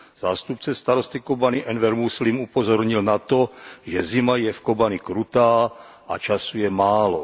Zástupce starosty Kobani Enver Muslim upozornil na to, že zima je v Kobani krutá a času je málo.